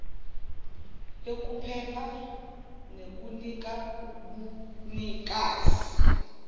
yokuphepha nekunika ubunikazi